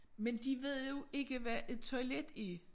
Men de ved jo ikke hvad et toilet er